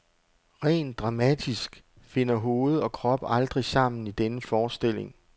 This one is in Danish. Rent dramatisk finder hoved og krop aldrig sammen i denne forestilling.